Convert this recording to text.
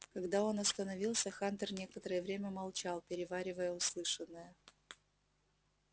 когда он остановился хантер некоторое время молчал переваривая услышанное